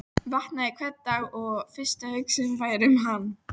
Vaknaði hvern dag og fyrsta hugsunin væri um hann.